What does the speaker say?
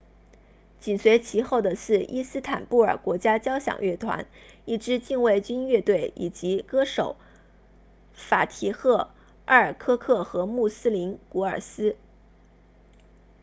紧随其后的是伊斯坦布尔国家交响乐团 istanbul state symphony orchestra 一支禁卫军乐队以及歌手法提赫埃尔科克 fatih erkoc 和穆斯林古尔斯 muslum gurses